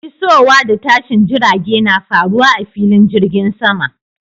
Isowa da tashin jirage na faruwa a filin jirgin sama.